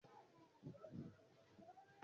Kí ni àwọn aṣọ tuntun yóò dà bí?